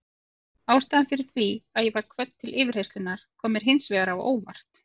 Ástæðan fyrir því að ég var kvödd til yfirheyrslunnar kom mér hins vegar á óvart.